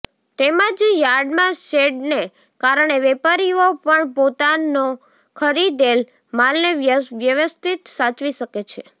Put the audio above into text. તેમજ યાર્ડમા શેડને કારણે વેપારીઓ પણ પોતાનો ખરીદેલ માલને વ્યવસ્થિત સાચવી શકે છે